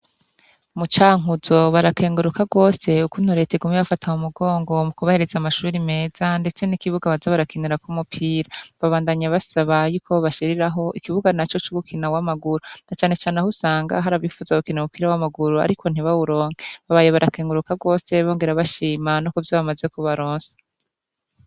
Mu Cankuzo barakenguruka rwose ukuntu Leta iguma ibafata mu mugongo mu kubahereza amashuri meza ndetse n'ikibuga baza barakinirako umupira. Babandanya basaba yuko bobashiriraho ikibuga naco c'ugukina uw'amaguru na canecane aho usanga hari abifuza gukina umupira w'amaguru ariko ntibawuronke, babaye barakenguruka rwose bongera bashima no kuburyo bamaze kubaronsa.